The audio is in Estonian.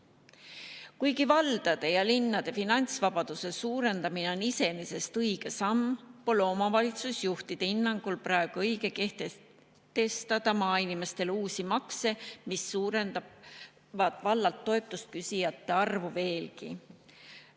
Kuigi valdade ja linnade finantsvabaduse suurendamine on iseenesest õige samm, pole omavalitsusjuhtide hinnangul praegu õige kehtestada maainimestele uusi makse, mis suurendavad vallalt toetust küsijate arvu veelgi.